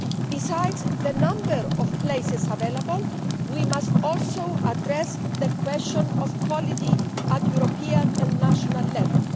Besides the number of places available, we must also address the question of quality at European and national level.